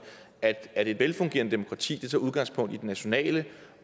at at et velfungerende demokrati tager udgangspunkt i det nationale